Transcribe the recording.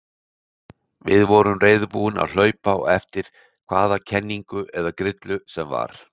Við vorum reiðubúnir að hlaupa á eftir hvaða kenningu eða grillu sem var.